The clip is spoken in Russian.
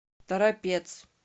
торопец